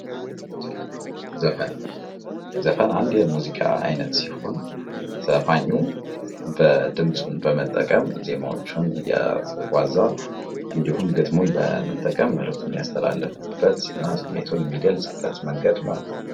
ዘፈን፥ ዘፈን አንድ የሙዚቃ አይነት ሲሆን ዘፋኙ ድምፁን በመጠቀም ዜማቸውን እያዋዛ እንዲሁም ግጥሙን በጠቀም መልክቱን የሚያስተላልፍበት እና ስሜቱን የሚገልፅበት መንገድ ነው።